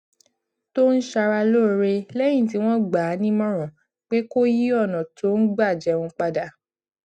tó ń ṣara lóore léyìn tí wón gbà á nímòràn pé kó yí ònà tó ń gbà jẹun padà